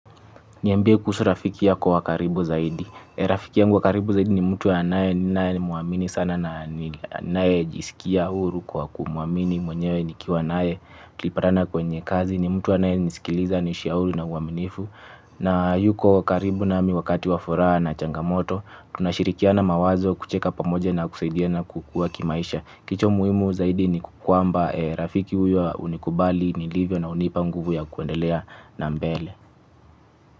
Niambie kuhusu rafiki yako wa karibu zaidi. Rafiki ya wa karibu zaidi ni mtu anae ninae muamini sana na ninaejisikia huru kwa kumuamini mwenyewe ni kiwa nae. Tukipatana kwenye kazi ni mtu anayenisikiliza nishauru na uwaminifu. Na yuko karibu nami wakati wa furaha na changamoto. Tunashirikiana mawazo kucheka pamoja na kusaidia na kukuwa kimaisha. Kitu muhimu zaidi ni kwamba rafiki huyo unikubali nilivyo na unipa nguvu ya kuendelea na mbele.